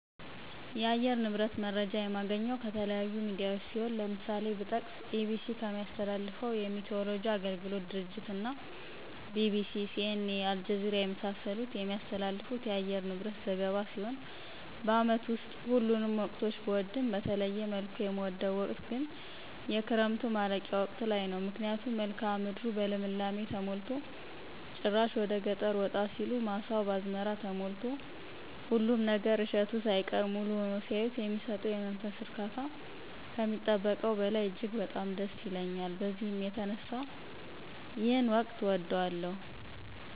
የአየር ንብረት መረጃ የማገኘው ከተለያዩ ሚዲያዎች ሲሆን ለምሳሌ ብጠቅስ EBC ከሚያስተላልፈው የሚቲይወሎጂ አገልግሎት ድርጅት እና BBC:CNA:አልጀዚራ የመሳሰሉት የሚያስተላልፉት የአየር ንብረት ዘገባ ሲሆን በአመት ውስጥ ሁሉንም ወቅቶች ብወድም በተለየ መልኩ የምወደው ወቅት ግን የክረምቱ ማለቂያ ወቅት ላይ ነው ምክንያቱም መልክአ ምድሩ በልምላሜ ተሞልቶ ጭራሽ ወደገጠር ወጣ ሲሉ ማሳው በአዝመራ ተሞልቶ ሁሉም ነገር እሸቱ ሳይቀር ሙሉ ሁኖ ሲያዩት የሚሰጠው የመንፈስ እርካታ ከሚጠበቀው በላይ እጅግ በጣም ደስ ይለኛል በዚህ የተነሳ ይሄን ወቅት እወደዋለሁ።